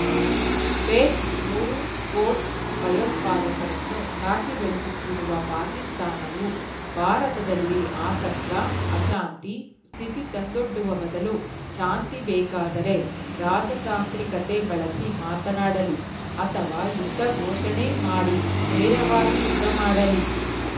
page ಮೂರು quote ಭಯೋತ್ಪಾದಕರನ್ನು ಸಾಕಿ ಬೆಳೆಸುತ್ತಿರುವ ಪಾಕಿಸ್ತಾನವು ಭಾರತದಲ್ಲಿ ಆತಂಕ ಅಶಾಂತಿ ಸ್ಥಿತಿ ತಂದೊಡ್ಡುವ ಬದಲು ಶಾಂತಿ ಬೇಕಾದರೆ ರಾಜತಾಂತ್ರಿಕತೆ ಬಳಸಿ ಮಾತನಾಡಲಿ ಅಥವಾ ಯುದ್ಧ ಘೋಷಣೆ ಮಾಡಿ ನೇರವಾಗಿ ಯುದ್ಧ ಮಾಡಲಿ